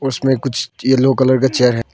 उसमें कुछ yellow colour का चेयर है।